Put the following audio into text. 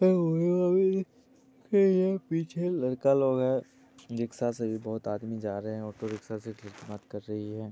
--यह पीछे लड़का लोग है रिक्शा सब आदमी लोग जा रहे हैओटो रिक्शा से---